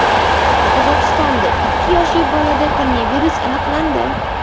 Qozog‘istonda ikki yoshli bolada koronavirus aniqlandi.